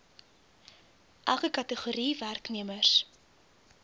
elke kategorie werknemers